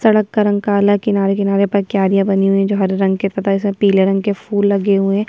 सडक का रंग काला है किनारे-किनारे पर क्यारियाँ बनी हुई है जो हरे रंग के तथा इसमें पीले रंग के फूल लगे हुए हैं।